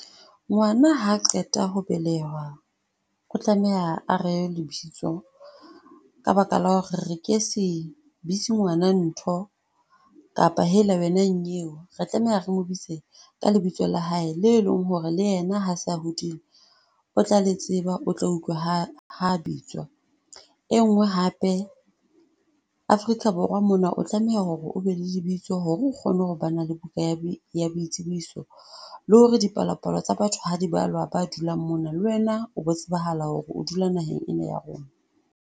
Ngwana ha qeta ho belehwa o tlameha ho rewa lebitso ka baka la hore re ke se bitsi ngwana ntho kapa hela wena nnyeo. Re tlameha re mo bitse ka lebitso la hae le o e leng hore le yena ha se a hodile o tla le tseba, o tla utlwa ha bitswa. E nngwe hape Afrika Borwa mona, o tlameha hore o be le lebitso hore o kgone hore ba na le buka ya boitsebiso le hore dipalopalo tsa batho ha di balwa ba dulang mona. Le wena o bo tsebahala hore o dula naheng ena ya rona.